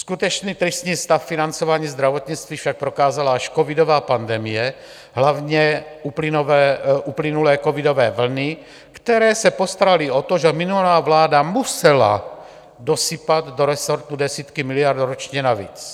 Skutečně tristní stav financování zdravotnictví však prokázala až covidová pandemie, hlavně uplynulé covidové vlny, které se postaraly o to, že minulá vláda musela dosypat do resortu desítky miliard ročně navíc.